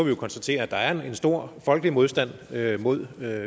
jo konstatere at der er en stor folkelig modstand mod